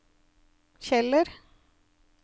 Kjeller